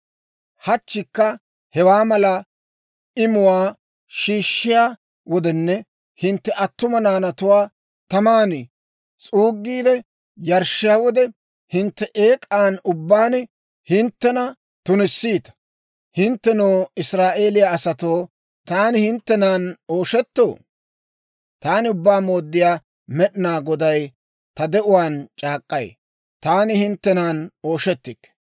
Hachchikka hewaa mala imuwaa shiishshiyaa wodenne hintte attuma naanatuwaa taman s'uuggiide yarshshiyaa wode, hintte eek'an ubbaan hinttena tunissiita. Hinttenoo, Israa'eeliyaa asatoo, taani hinttenan ooshettoo? Taani Ubbaa Mooddiyaa Med'inaa Goday ta de'uwaan c'aak'k'ay: Taani hinttenan ooshettikke.